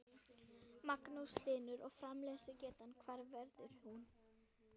Magnús Hlynur: Og framleiðslugetan hver verður hún?